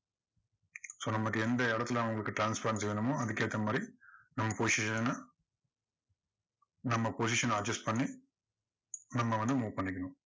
சொன்னா மாதிரி எந்த இடத்துல உங்களுக்கு transparency வேணுமோ அதுக்கேத்த மாதிரி நம்ம position அ, நம்ம position அ adjust பண்ணி நம்ம வந்து move பண்ணிக்கணும்.